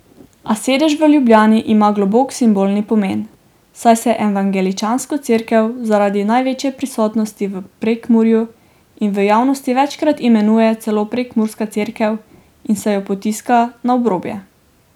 A sedež v Ljubljani ima globok simbolni pomen, saj se evangeličansko Cerkev zaradi največje prisotnosti v Prekmurju v javnosti večkrat imenuje celo prekmurska cerkev in se jo potiska na obrobje.